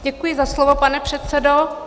Děkuji za slovo, pane předsedo.